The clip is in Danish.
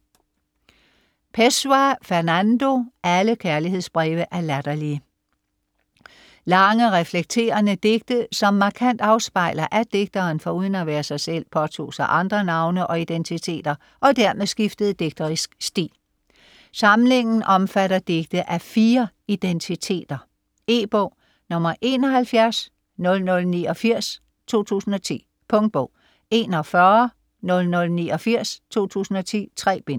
Pessoa, Fernando: Alle kærlighedsbreve er latterlige Lange, reflekterende digte som markant afspejler, at digteren foruden at være sig selv påtog sig andre navne og identiteter, og dermed skiftede digterisk stil. Samlingen omfatter digte af fire identiteter. E-bog 710089 2010. Punktbog 410089 2010. 3 bind.